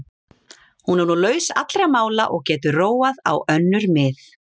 Hún er nú laus allra mála og getur róað á önnur mið.